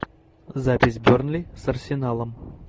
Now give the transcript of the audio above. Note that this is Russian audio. запись бернли с арсеналом